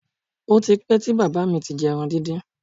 Ó ti pẹ́ tí bàbá mi ti jẹ ẹran díndín